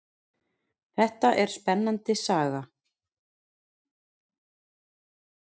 Þetta er spennandi saga.